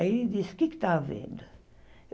Aí ele disse, o que é que está havendo?